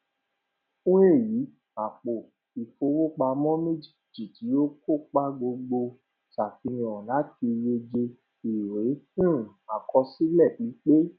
fún èyí àpò ìfowópamọ méjèèjì ti o kópa gbọdọ sàfihàn láti yege ìwé um àkọsílẹ pípé